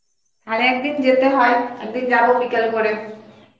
তাহলে একদিন যেতে হয় একদিন যাব বিকেল করে